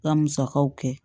Ka musakaw kɛ